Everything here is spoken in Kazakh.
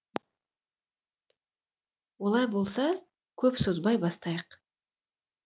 олай болса көп созбай бастайық